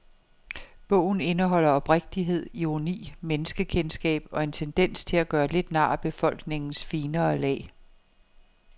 Bogen indeholder oprigtighed, ironi, menneskekendskab og en tendens til at gøre lidt nar af befolkningens finere lag.